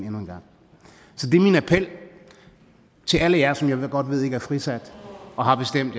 endnu en gang så det er min appel til alle jer som jeg godt ved ikke er frisat og har bestemt